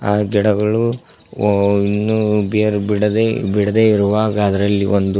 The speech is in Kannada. ಆ ಗಿಡಗಳು ಒಂದು ಬೇರು ಬಿಡದೆ ಬಿಡದೆ ಇರುವಾಗ ಅದ್ರಲ್ಲಿ ಒಂದು --